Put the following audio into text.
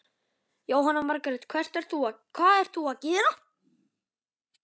Jóhanna Margrét: Hvað ert þú að gera?